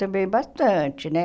Também bastante, né?